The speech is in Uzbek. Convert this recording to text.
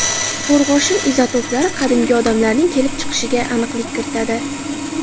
Qo‘rg‘oshin izotoplari qadimgi odamlarning kelib chiqishiga aniqlik kiritadi.